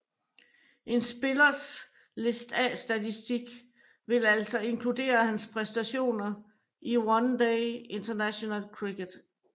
En spillers List A statistik vil altså inkludere hans præstationer i One Day International cricket